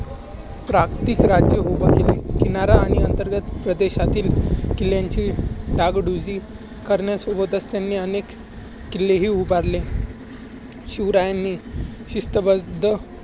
प्राक्तीत राज्य उभारले. किनारा आणि अंतर्गत प्रदेशातील किल्ल्याची डागडुजी करण्यासोबतच त्यांनी अनेक किल्लेही उभारले.